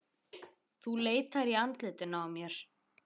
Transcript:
Þú leitar í andlitinu á mér.